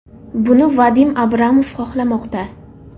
Buni Vadim Abramov xohlamoqda.